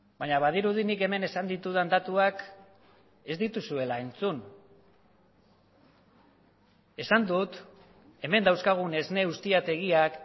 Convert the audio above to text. baina badirudi nik hemen esan ditudan datuak ez dituzuela entzun esan dut hemen dauzkagun esne ustiategiak